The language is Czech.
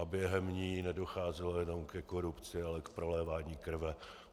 A během ní nedocházelo jenom ke korupci, ale k prolévání krve.